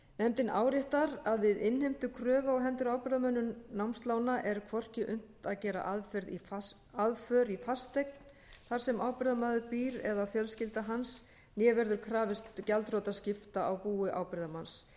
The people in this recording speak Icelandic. nefndin áréttar að við innheimtu kröfu á hendur ábyrgðarmönnum námslána er hvorki unnt að gera aðför í fasteign þar sem ábyrgðarmaður býr eða fjölskylda hans né verður krafist gjaldþrotaskipta á búi ábyrgðarmanns